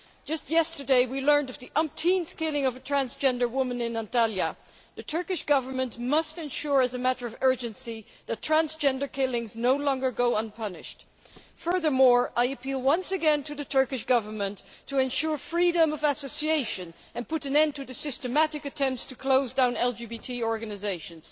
Just yesterday, we learned of the umpteenth killing of a transgender woman in Antalya. The Turkish Government must ensure, as a matter of urgency, that transgender killings no longer go unpunished. Furthermore, I appeal once again to the Turkish Government to ensure freedom of association and put an end to the systematic attempts to close down LGTB organisations.